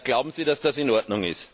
Glauben Sie, dass das in Ordnung ist?